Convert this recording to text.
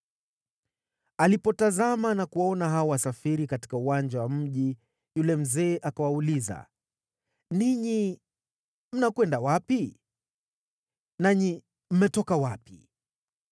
Alipotazama na kuwaona hao wasafiri katika uwanja wa mji, yule mzee akawauliza, “Ninyi mnakwenda wapi? Nanyi mmetoka wapi?”